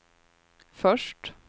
först